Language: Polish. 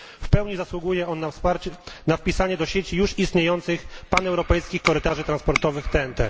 W pełni zasługuje on na wpisanie do sieci już istniejących Paneuropejskich Korytarzy Transportowych TNT.